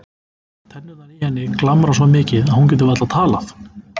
Tennurnar í henni glamra svo mikið að hún getur varla talað.